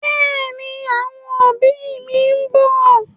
Bẹ́ẹ̀ni, àwọn òbí mi ń bọ̀.